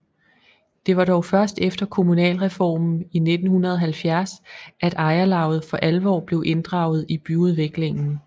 Det var dog først efter kommunalreformen i 1970 at ejerlavet for alvor blev inddraget i byudviklingen